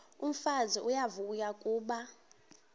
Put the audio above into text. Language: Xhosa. umfazi uyavuya kuba